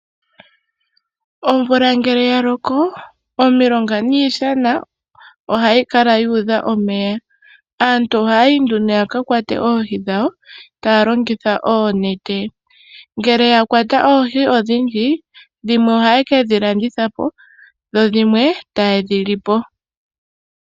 Omvula ngele ya loko omilonga niishana ohayi kala yuudha omeya. Aantu ohayayi nduno yaka kwate oohi dhawo taya longitha oonete. Ngele oya kwata oohi odhindji, dhimwe ohaye kedhi landithapo dho dhimwe taye dhi lipo.